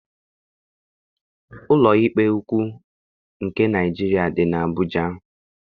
Ụlọikpe ukwuu nke Naịjiria dị n'Abuja.